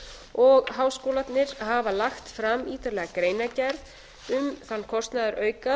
og háskólarnir hafa lagt fram ítarlega greinargerð um þann kostnaðarauka